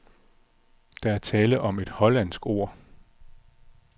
Der er tale om et hollandsk ord.